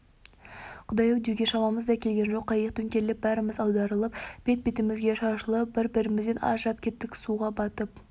құдай-ай деуге шамамыз да келген жоқ қайық төңкеріліп бәріміз аударылып бет-бетімізге шашылып бір-бірімізден ажырап кеттік суға батып